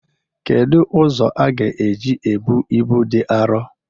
Kedu ụzọ aga eji ebu ibu dị arọ?